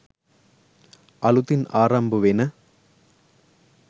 අලුතින් ආරම්භ වෙන